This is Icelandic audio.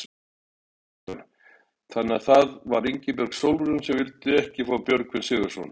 Kristján: Þannig að það var Ingibjörg Sólrún sem vildi ekki fá Björgvin Sigurðsson?